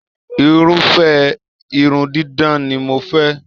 Irufẹ irun didán ni mò fẹ